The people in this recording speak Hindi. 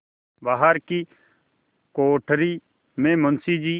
बाहर की कोठरी में मुंशी जी